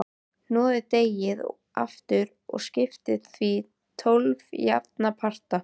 Hnoðið deigið aftur og skiptið því í tólf jafna parta.